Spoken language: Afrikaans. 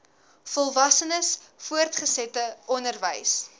volwassenes voortgesette onderwys